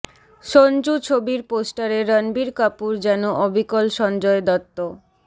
সনজু ছবির পোস্টারে রণবীর কাপুর যেন অবিকল সঞ্জয় দত্ত